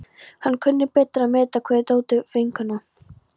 Hann kunni betur að meta kveðjur Tótu vinnukonu.